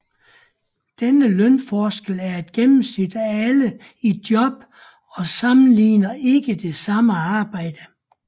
Denne lønforskel er et gennemsnit af alle i job og sammenligner ikke det samme arbejde